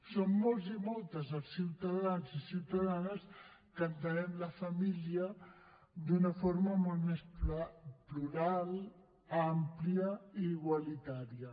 som molts i moltes els ciutadans i ciutadanes que entenem la família d’una forma molt més plural àmplia i igualitària